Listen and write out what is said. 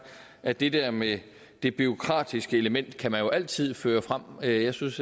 at det der med det bureaukratiske element kan man jo altid føre frem jeg synes